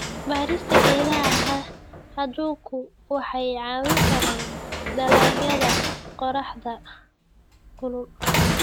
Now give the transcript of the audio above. Beerista geedaha hadhku waxay caawin kartaa dalagyada qorraxda kulul.